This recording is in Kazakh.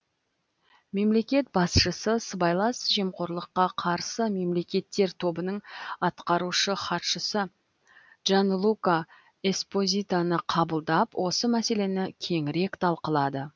мемлекет басшысы сыбайлас жемқорлыққа қарсы мемлекеттер тобының атқарушы хатшысы джанлука эспозитоны қабылдап осы мәселені кеңірек талқылады